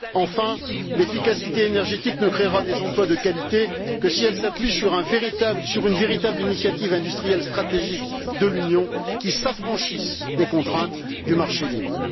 Enfin, l'efficacité énergétique ne créera des emplois de qualité que si elle s'appuie sur une véritable initiative industrielle stratégique de l'Union s'affranchissant des contraintes du marché libre.